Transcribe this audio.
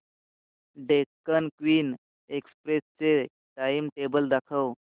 Deccan Queen Express चे timetable दाखव